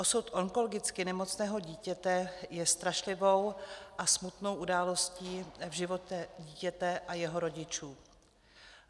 Osud onkologicky nemocného dítěte je strašlivou a smutnou událostí v životě dítěte a jeho rodičů.